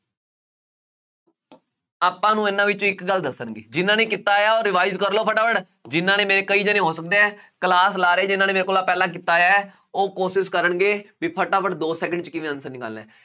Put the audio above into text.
ਆਪਾਂ ਨੂੰ ਇਹਨਾ ਵਿੱਚੋਂ ਇੱਕ ਗੱਲ ਦੱਸਣਗੇ, ਜਿੰਨ੍ਹਾ ਨੇ ਕੀਤਾ ਹੋਇਆ ਉਹ revise ਕਰ ਲਉ ਫਟਾਫਟ, ਜਿੰਨ੍ਹਾ ਨੇ mean ਕਈ ਜਣੇ ਹੋ ਸਕਦੇ ਆ, class ਲਾ ਰਹੇ ਜਿੰਨ੍ਹਾ ਨੇ ਮੇਰੇ ਕੋਲ ਆਹ ਪਹਿਲਾਂ ਕੀਤਾ ਹੋਇਆਂ ਹੈ, ਉਹ ਕੋਸ਼ਿਸ਼ ਕਰਨਗੇ ਬਈ ਫਟਾਫਟ ਦੋ second ਚ ਕਿਵੇਂ answer ਨਿਕਾਲਣਾ।